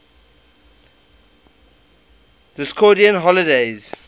discordian holidays